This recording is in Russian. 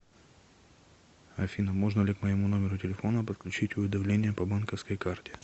афина можно ли к моему номеру телефона подключить уведомления по банковской карте